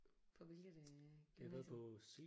På hvilket øh gymnasie?